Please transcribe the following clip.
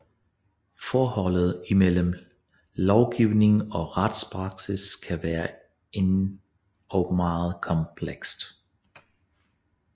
Forholdet imellem lovgivning og retspraksis kan være endog meget komplekst